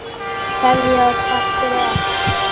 Kveðja og takk fyrir allt.